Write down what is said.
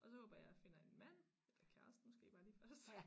Og så håber jeg jeg finder en mand eller kæreste måske bare lige først